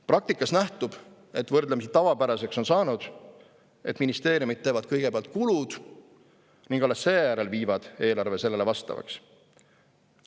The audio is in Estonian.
Praktikast nähtub, et võrdlemisi tavapäraseks on saanud, et ministeeriumid teevad kõigepealt kulud ning alles seejärel viivad eelarve sellele vastavaks.